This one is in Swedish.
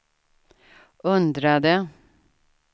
undrade